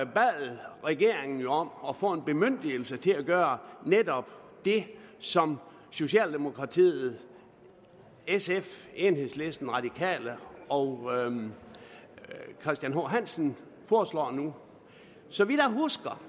bad regeringen jo om at få en bemyndigelse til at gøre netop det som socialdemokratiet sf enhedslisten de radikale og herre christian h hansen foreslår nu så vidt jeg husker